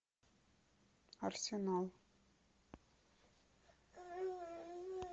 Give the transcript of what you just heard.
арсенал